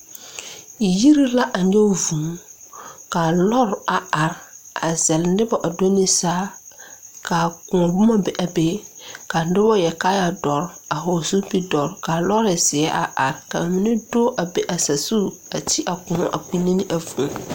Yiri la a nyoge vūū kaa lɔre a are a zɛle nobɔ a do ne saa kaa kõɔ boma be a be ka nobɔ yɛre kaayɛ dɔre a hɔɔle zupil dɔre kaa lɔɔre zeɛ a are ka mine do a be a sazu a ti a kõɔ a kpinne ne a vūū.